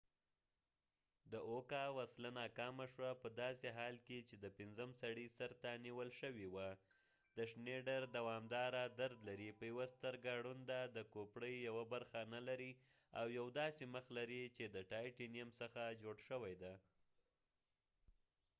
د اوکا وسله ناکامه شوه په داسې حال کې چې د پنځم سړي سر ته نيول شوې وه شنیډر دوامداره درد لري په یوه سترګه ړوند دی د کوپړې يوه برخه نه لري او يو داسې مخ لري چې د ټایټینیم څخه جوړ شوی دی